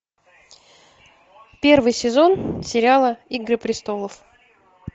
первый сезон сериала игры престолов